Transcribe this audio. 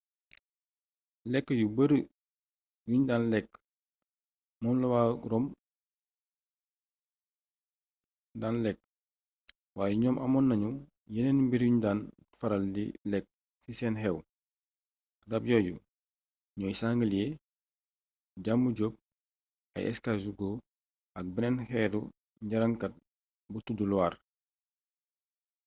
lekk yu bari yuñ daan lekk moom la waa rome daan lekk waaye ñoom amoon nañu yeneen mbir yuñ daan faral di lekk ci seeni xew rab yooyu ñooy sanglier jàmbu jóop ay escargot ak benn xeetu ŋarañkat bu tuddu loir